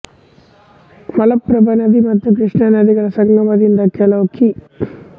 ಮಲಪ್ರಭಾ ನದಿ ಮತ್ತು ಕೃಷ್ಣಾ ನದಿಗಳ ಸಂಗಮದಿಂದ ಕೆಲವು ಕಿ